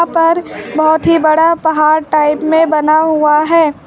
पर बहुत ही बड़ा पहाड़ टाइप में बना हुआ है।